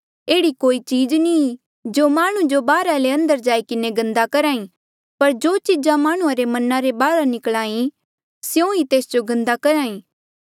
एह्ड़ी कोई चीज नी ई जो माह्णुं जो बाहरा ले अंदर जाई किन्हें गन्दा करही पर जो चीजा माह्णुं रे मना रे बाहर निकला ई स्यों ई तेस जो गन्दा करहा ई